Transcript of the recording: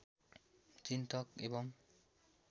चिन्तक एवम्